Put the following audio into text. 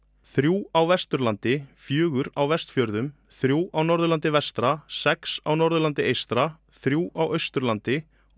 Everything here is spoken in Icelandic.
þrjú á Vesturlandi fjögur á Vestfjörðum þrjú á Norðurlandi vestra sex á Norðurlandi eystra þrjú á Austurlandi og